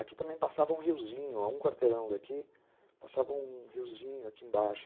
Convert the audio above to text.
Aqui também passava um riozinho, a um quarteirão daqui, passava um riozinho aqui embaixo.